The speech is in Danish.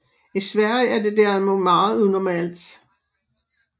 I Sverige er det derimod meget unormalt